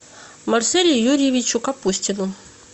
марселю юрьевичу капустину